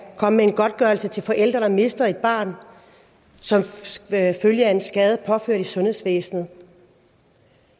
komme med en godtgørelse til forældre der mister et barn som følge af en skade påført i sundhedsvæsenet